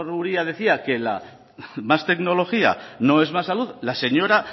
uria decía que más tecnología no es más salud la señora